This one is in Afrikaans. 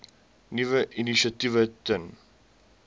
nuwe initiatiewe ten